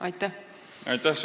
Aitäh!